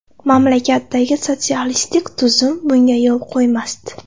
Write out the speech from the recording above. Mamlakatdagi sotsialistik tuzum bunga yo‘l qo‘ymasdi.